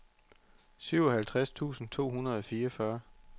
syvoghalvtreds tusind to hundrede og fireogfyrre